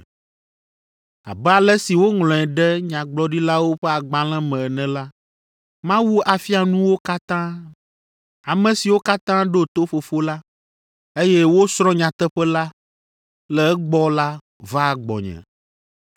Abe ale si woŋlɔe ɖe Nyagblɔɖilawo ƒe agbalẽ me ene la, ‘Mawu afia nu wo katã.’ Ame siwo katã ɖo to Fofo la, eye wosrɔ̃ nyateƒe la le egbɔ la vaa gbɔnye.